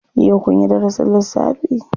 Yau kunyi darasin lissafi?